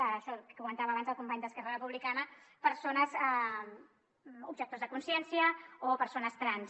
això que comentava abans el company d’esquerra republicana objectors de consciència o persones trans